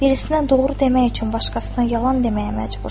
Birisinə doğru demək üçün başqasından yalan deməyə məcbursan.